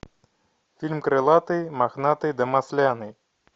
фильм крылатый мохнатый да масляный